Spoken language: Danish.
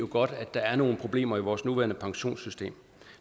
godt at der er nogle problemer i vores nuværende pensionssystem og